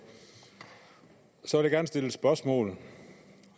så vil jeg gerne stille et spørgsmål